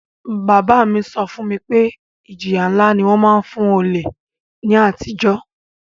Bàbá mi so fún mi pe ìjìyà nlá ni won má n fun olè ni àtijó